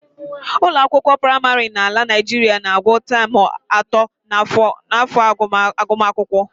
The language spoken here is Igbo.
Ụlọakwụkwọ praịmarị n'ala Naijiria na-agụ taam atọ n'afọ agụmakwụkwọ